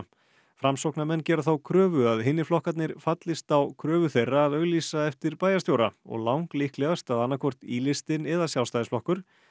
framsóknarmenn gera þá kröfu að hinir flokkarnir fallist á kröfu þeirra að auglýsa eftir bæjarstjóra og lang líklegast að annað hvort í listinn eða Sjálfstæðisflokkur